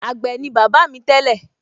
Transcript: àgbẹ̀ ni bàbá mi tẹ́lẹ̀